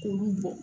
K'olu bɔn